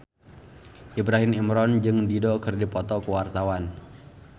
Ibrahim Imran jeung Dido keur dipoto ku wartawan